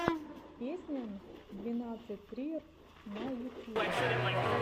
песня н двадцать три р на ютьюбе